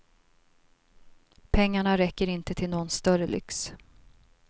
Pengarna räcker inte till någon större lyx.